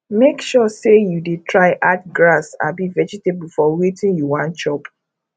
mek sure sey yu dey try add grass abi vegetable for wetin yu wan chop